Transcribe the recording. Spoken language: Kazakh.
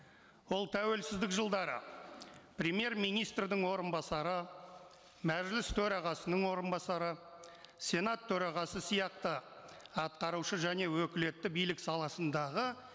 ол тәуелсіздік жылдары премьер министрдің орынбасары мәжіліс төрағасының орынбасары сенат төрағасы сияқты атқарушы және өкілетті билік саласындағы